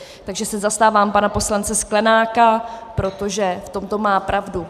Takže se zastávám pana poslance Sklenáka, protože v tomto má pravdu.